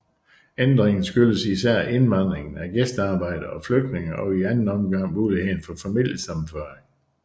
Ændringen skyldes især indvandring af gæstearbejdere og flygtninge og i anden omgang mulighederne for familiesammenføring